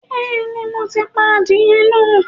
Bẹ́ẹ̀ni, mo ti pa adìyẹ náà